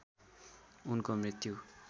उनको मृत्यु